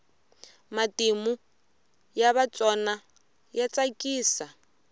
matimu ya vatsona ya tsakisa